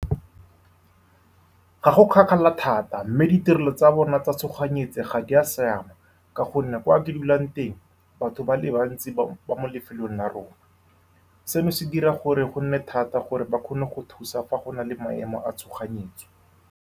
Ga go kgakala thata, mme ditirelo tsa bona tsa tshoganyetso ga di a siama. Ka gonne kwa ke dulang teng, batho ba le bantsi ba mo lefelong la rona, seno se dira gore go nne thata gore ba kgone go thusa fa go na le maemo a tshoganyetso.